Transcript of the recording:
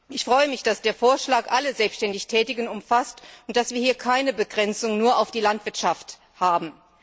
Ich freue mich, dass der Vorschlag alle selbständig Tätigen umfasst und dass wir hier keine Begrenzung nur auf die Landwirtschaft haben.